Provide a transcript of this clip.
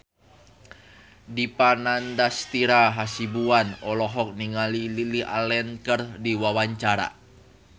Dipa Nandastyra Hasibuan olohok ningali Lily Allen keur diwawancara